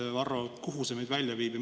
Mis sa arvad, Varro, kuhu see meid viib?